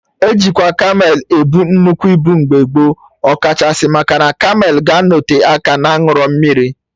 E jikwa kamel ebu nnukwu ibu mgbe gboo, ọ kachasị maka na kamel ga-anọte aka na-aṅụrọ mmiri